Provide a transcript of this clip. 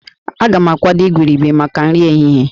A ga-akwadebe igurube maka nri ehihie